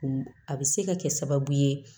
A bɛ se ka kɛ sababu ye